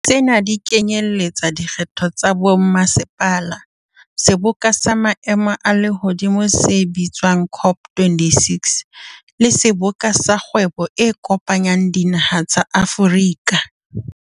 Tsena di kenyeletsa dikgetho tsa bommasepala, seboka sa maemo a lehodimo se bitswa ng COP26, le Seboka sa Kgwebo e Kopanyang Dinaha tsa Afrika.